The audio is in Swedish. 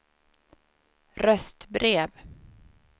röstbrev